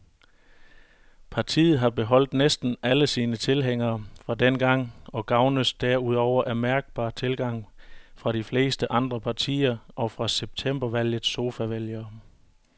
Partiet har beholdt næsten alle sine tilhængere fra dengang og gavnes derudover af mærkbar tilgang fra de fleste andre partier og fra septembervalgets sofavælgere.